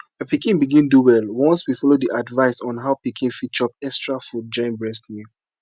my pikin begin do well once we follow the advice on how pikin fit chop extra food join breast milk